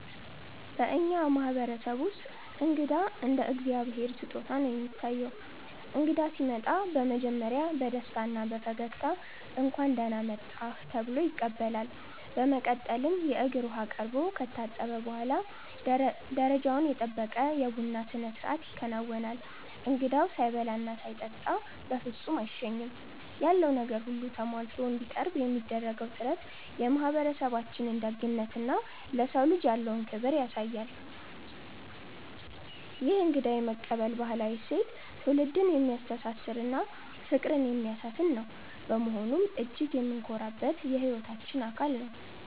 በእኛ ማህበረሰብ ውስጥ እንግዳ እንደ እግዚአብሔር ስጦታ ነው የሚታየው። እንግዳ ሲመጣ በመጀመሪያ በደስታና በፈገግታ 'እንኳን ደህና መጣህ' ተብሎ ይቀበላል። በመቀጠልም የእግር ውሃ ቀርቦ ከታጠበ በኋላ፣ ደረጃውን የጠበቀ የቡና ስነስርዓት ይከናወናል። እንግዳው ሳይበላና ሳይጠጣ በፍጹም አይሸኝም። ያለው ነገር ሁሉ ተሟልቶ እንዲቀርብ የሚደረገው ጥረት የማህበረሰባችንን ደግነትና ለሰው ልጅ ያለውን ክብር ያሳያል። ይህ እንግዳ የመቀበል ባህላዊ እሴት ትውልድን የሚያስተሳስርና ፍቅርን የሚያሰፍን በመሆኑ እጅግ የምንኮራበት የህይወታችን አካል ነው።